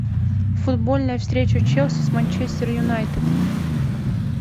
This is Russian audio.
футбольная встреча челси с манчестер юнайтед